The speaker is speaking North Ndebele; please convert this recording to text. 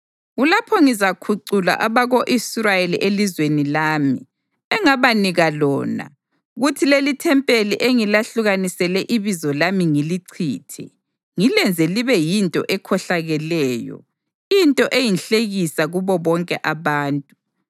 kulapho ngizakhucula abako-Israyeli elizweni lami, engabanika lona, kuthi lelithempeli engilahlukanisele iBizo lami ngilichithe, ngilenze libe yinto ekhohlakeleyo into eyinhlekisa kubo bonke abantu.